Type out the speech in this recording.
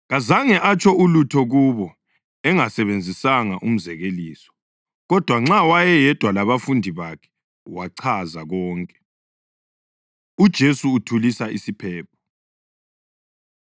Kazange atsho ulutho kubo engasebenzisanga umzekeliso. Kodwa nxa wayeyedwa labafundi bakhe wachaza konke. UJesu Uthulisa Isiphepho